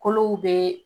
Kolow bɛ